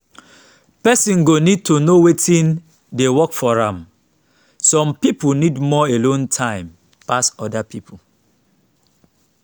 person go need to know wetin dey work for am some pipo need more alone time pass oda pipo